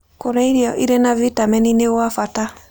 Kũrĩa irio ĩrĩ na vĩtamenĩ nĩ gwa bata